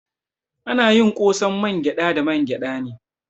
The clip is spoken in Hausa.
Ana yin ƙosan mangyada da mangyada ne.